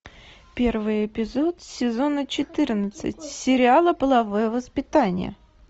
первый эпизод сезона четырнадцать сериала половое воспитание